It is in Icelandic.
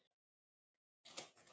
ÞÚ ERT NÚ MEIRI